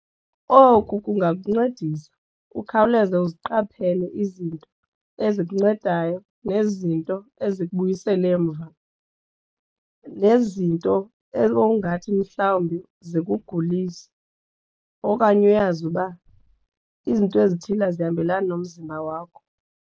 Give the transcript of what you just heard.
Oku kungancedisa ukhawuleze uziqaphele izinto ezikuncedayo nezinto ezikubuyisela emva nezinto ngokungathi mhlawumbi zikugulise okanye uyazi uba izinto ezithile azihambelani nomzimba wakho.